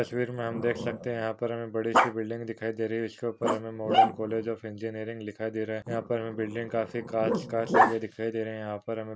तस्वीर में हम देख सकते है यहा पर हमें बड़ी सी बिल्डिंग दिखाई दे रही है इसके ऊपर हमें मॉडर्न कॉलेज ऑफ इंजिनीरिंग लिखा दिखाई दे रहा है यहा पर हमें बिल्डिंग हमें काफी काच काच दिखाई दे रहे है यहा पर हमें --